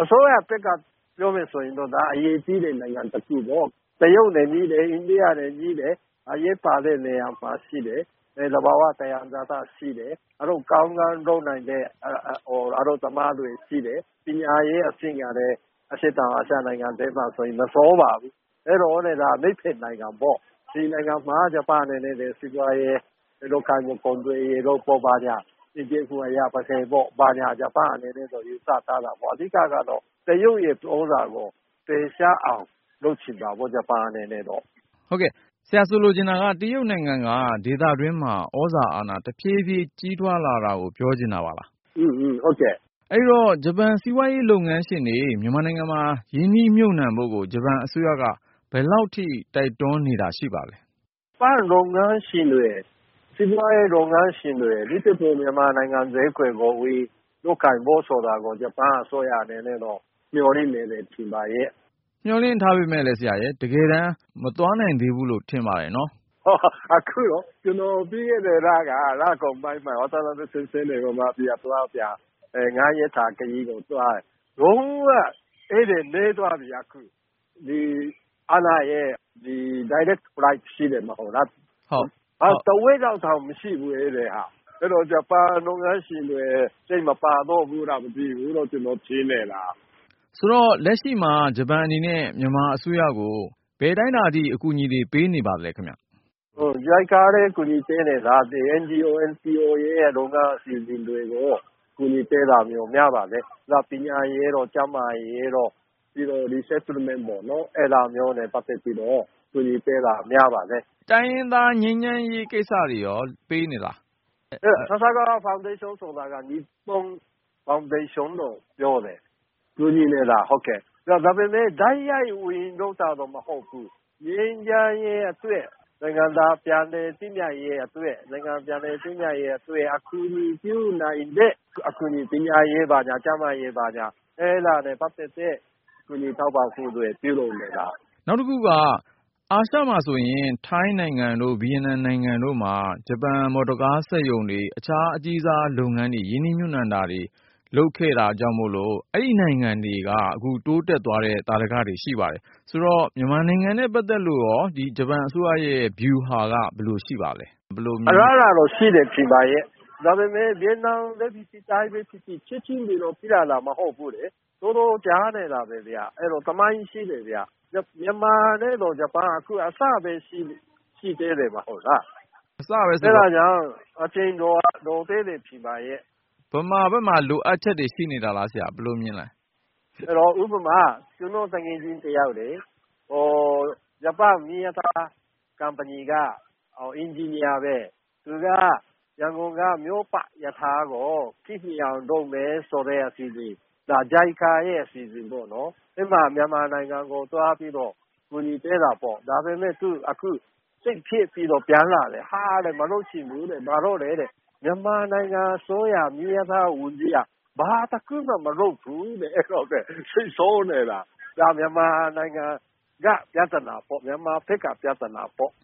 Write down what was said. အစိုးရသစ်ကနေ ပြောမယ်ဆိုရင်တော့ ဒါက အရေးကြီးတဲ့ နိုင်ငံတခုပေါ့ ။ တရုတ်နဲ့ နီးတယ် အိန္ဒိယနဲ့ နီးတယ်။ အရေးပါတဲ့နေရာမှာရှိတယ် သဘာ၀ သံယံဇာတရှိတယ်။ အလုပ်ကောင်းကောင်းလုပ်နိုင်တဲ့ အလုပ်သမားတွေရှိတယ်။ ပညာရေးအဆင့်ကလည်း အရှေ့တောင်အာရှနိုင်ငံမှာ မဆိုးပါဘူး။ ဒီနိုင်ငံမှာ ဂျပန်အနေနဲ့ စီးပွားရေး နောက်ပြီး သူတို့ကုန်သွယ်ရေးတို့ဘာညာတွေကို ဂျပန်အနေနဲ့ ယူဆထားတာပေါ့။ အဓိကတော့ တရုတ် သြဇာကို ဖယ်ရှားအောင်လုပ်ချင်တာပေါ့ ဂျပန်အနေနဲ့တော့။ တရုတ်နိုင်ငံက ဒေသတွင်းမှာ သြဇာအာဏာ တဖြည်းဖြည်း ကြီးထွားလာတာကို ပြောချင်တာပါလား။ ဟုတ်တယ်။ အဲဒီတော့ ဂျပန်စီးပွားရေးလုပ်ငန်းရှင်တွေ မြန်မာနိုင်ငံမှာ ရင်းနှီးမြှုပ်နှံဖို့ကို ဂျပန်အစိုးရက ဘယ်လောက်ထိ တိုက်တွန်းနေတာ ရှိပါသလဲ။ ဂျပန်စီးပွားရေးလုပ်ငန်းရှင်တွေ အထူးသဖြင့် မြန်မာနိုင်ငံဈေးကွက်ကို ဝင်လုပ်ကိုင်ဖို့ဆိုတာကို ဂျပန်အစိုးရအနေနဲ့ကတော့ မျှော်လင့်နေတယ်လို့ထင်ပါတယ်။ မျှော်လင့်ထားပေမယ့်လည်း တကယ်တမ်း မသွားနိုင်ဘူးလို့ ထင်ပါတယ်။ ကျနော်ပြီးခဲ့တဲ့လက လကုန်ပိုင်းမှာ ၅ ရက်ခရီးသွားတယ်။ လုံး၀ ဧည့်သည်နည်းသွားပြီအခု ။ အားလပ်ရက် price ရှိတယ်မဟုတ်လား အခုက ဧည့်သည်တဝက်လောက်တောင်မရှိဘူး။ အဲဒီတော့ ဂျပန်လုပ်ငန်းရှင်တွေ စိတ်မပါတော့ဘူးလားမသိဘူး ကျနော်ထင်နေတာ။ အဲဒီတော့ လက်ရှိမှာ ဂျပန်အနေနဲ့ မြန်မာအစိုးရကို ဘယ်အတိုင်းအတာထိ အကူအညီပေးနေပါသလဲ။ JICA ကလည်း အကူအညီတွေ ပေးနေတာ။ NGO/NPO တွေရဲ့လုပ်ငန်း အစီအစဉ်တွေကို အကူအညီပေးတာမျိုး များပါတယ်။ နောက် ပညာရေးတို့ ကျန်းမာရေးတို့ ပြီးတော့ Resettlement ပေါ့နော် အဲဒါမျိုးနဲ့ပတ်သက်ပြီးတော့ အကူညီပေးတာ များပါတယ်။ တိုင်းရင်းသားငြိမ်းချမ်းရေးကိစ္စတွေအတွက်ရော ပေးနေပါသလား။ Sasakawa ဖေါင်ဒေးရှင်းဆိုတာက Nippon ဖေါင်ဒေးရှင်းကိုပြောတာ။ အဲဒီအဖွဲ့က ကူညီနေတာ ဒါပေမယ့် တိုက်ရိုက် ဝင်လုပ်တာတော့ မဟုတ်ဘူး။ ငြိမ်းချမ်းရေးအတွက် နိုင်ငံသားပြန်လည်သင့်မြတ်ရေးအတွက် အကူအညီပြုနိုင်တဲ့ ပညာရေး ကျန်းမာရေး ဘာညာ အဲဒါနဲ့ပတ်သက်တဲ့ ကူညီထောက်ပံ့မှုတွေ ပြုလုပ်နေတာဖြစ်တယ်။ နောက်တခုက အာရှမှာဆိုရင် ထိုင်းတို့ ဗီယက်နမ်နိုင်ငံတို့မှာ ဂျပန်မော်တော်ကား စက်ရုံတွေ၊ အခြားအကြီးစား လုပ်ငန်းတွေ ရင်းနှီးမြှုပ်နှံမှုတွေ လုပ်ခဲ့လို့ အဲဒီနိုင်ငံတွေ တိုးတက်သွားတဲ့ သာဓက ရှိပါတယ်။ မြန်မာနိုင်ငံနဲ့ ပတ်သက်လို့ ဂျပန်အစိုးရရဲ့ ဗျူဟာ ဘယ်လိုရှိပါသလဲ။ အလားအလာတော့ ရှိတယ်ထင်ပါရဲ့။ ဒါပေမယ့် ဗီယက်နမ်ပဲဖြစ်ဖြစ် ထိုင်းပဲဖြစ်ဖြစ် ချက်ချင်း ဒီလိုဖြစ်လာတာတော့ မဟုတ်ဘူးလေ။ တော်တော်ကြာခဲ့တာပဲ၊ အဲဒါ သမိုင်းရှိတာပဲ။ မြန်မာနဲ့တော့ ဂျပန်က အခုအစပဲရှိသေးတယ် မဟုတ်လား။ အဲဒါကြောင့် အချိန်လိုသေးတယ် ထင်ပါရဲ့။ မြန်မာဘက်မှာ လိုအပ်ချက်တွေရှိနေတာလား ၊ ဘယ်လိုမြင်ပါသလဲ။ ဥပမာ ကျနော့်သူငယ်ချင်းတယောက်လေ… ဂျပန်မီးရထား ကုမ္ပဏီက အင်ဂျင်နီယာပဲ၊ သူက ရန်ကုန်က မြို့ပတ်ရထားကို ခေတ်မီအောင်လုပ်မယ်ဆိုတဲ့ အစီအစဉ်အတွက်.. အဲဒါ JICA ရဲ့အစီအစဉ်ပေ့ါနော်။ အဲဒါ မြန်မာနိုင်ငံကို သွားပြီးတော့ အကူအညီပေးတာပေါ့။ ဒါပေမယ့် အခုသူ စိတ်ပျက်ပြီးတော့ ပြန်လာတယ်။ ဟာ မလုပ်ချင်တော့ဘူးတဲ့… ဘာလို့လည်း မေးကြည့်တော့ မြန်မာနိုင်ငံအစိုးရ မီးရထားဝန်ကြီးက ဘာတခုမှ မလုပ်ဘူးတဲ့… အဲဒါ စိတ်ဆိုးနေတာ။ ဒါက မြန်မာနိုင်ငံက ပြဿနာ၊ မြန်မာဘက်က ပြဿနာပေါ့